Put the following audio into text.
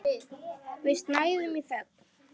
Við snæðum í þögn.